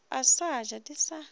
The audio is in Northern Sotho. a sa ja di sa